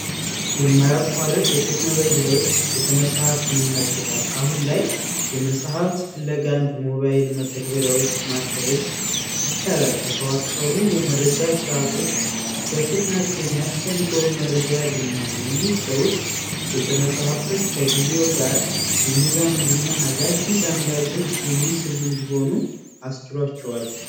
የማያቋርጥ የቴክኖሎጂ ለውጥ ቤተመፃፍትንም ነክቶታል አሁን ላይ የመጽሐፍት ፍለጋን በሞባይል መጠግበሪያዎች መፈለግ ይቻላል የተዋቀሩ የመረጃ ስርዓቶች በፍጥነት የሚያስፈልገውን መረጃ በፍጥነት ያገኛሉ ይህ ለውጥ ቤተ መጻህፍቶች ከጊዜው ጋር የሚራመዱና ከጊዜው ጋር አዳዲስ አንባቢዎች የሚሰቡ እንዲሆኑ አስችሏቸዋል።